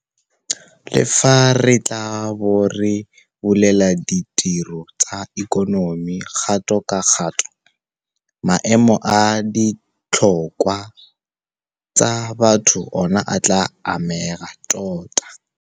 Le fa re tla bo re bulela ditiro tsa ikonomi kgato ka kgato, maemo a ditlhokwa tsa batho ona a tla amega tota.